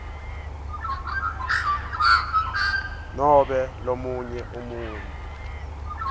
nobe lomunye umuntfu